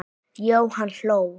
Jóhann hló.